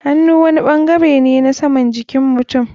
Hannu wani bangare ne na saman jikin mutum.